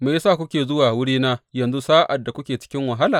Me ya sa kuke zuwa wurina yanzu sa’ad da kuke cikin wahala?